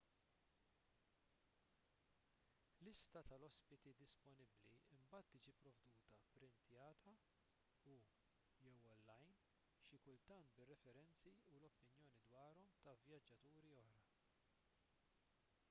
lista tal-ospiti disponibbli imbagħad tiġi pprovduta pprintjata u/jew online xi kultant bir-referenzi u l-opinjoni dwarhom ta' vjaġġaturi oħra